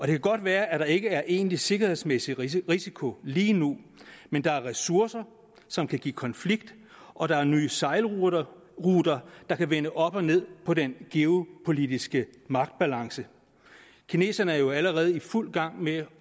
det kan godt være at der ikke er egentlig sikkerhedsmæssig risiko lige nu men der er ressourcer som kan give konflikter og der er nye sejlruter der kan vende op og ned på den geopolitiske magtbalance kineserne er jo allerede i fuld gang med